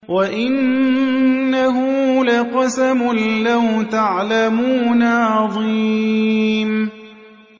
وَإِنَّهُ لَقَسَمٌ لَّوْ تَعْلَمُونَ عَظِيمٌ